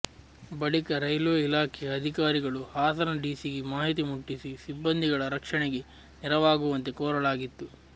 ಬಳಿಕ ರೈಲ್ವೆ ಇಲಾಖೆಯ ಅಧಿಕಾರಿಗಳು ಹಾಸನ ಡಿಸಿಗೆ ಮಾಹಿತಿ ಮುಟ್ಟಿಸಿ ಸಿಬ್ಬಂದಿಗಳ ರಕ್ಷಣೆಗೆ ನೆರವಾಗುವಂತೆ ಕೋರಲಾಗಿತ್ತು